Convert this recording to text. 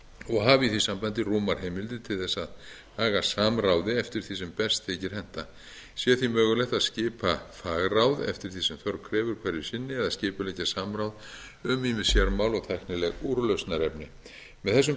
og hafi í því sambandi rúmar heimildir til þess að haga samráði eftir því sem best þykir henta sé því mögulegt að skipta fagráð eftir því sem þörf krefur hverju sinni eða skipuleggja samráð um ýmis sérmál og tæknileg úrlausnarefni með þessum